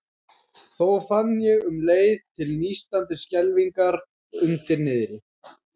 Þó fann ég um leið til nístandi skelfingar undir niðri.